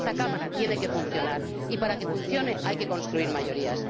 Esta Cámara tiene que funcionar y, para que funcione, hay que construir mayorías.